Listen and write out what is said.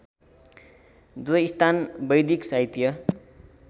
जो स्थान वैदिक साहित्य